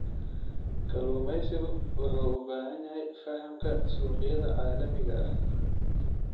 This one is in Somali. Kalluumeysigu wuxuu u baahan yahay fahamka suuqyada caalamiga ah.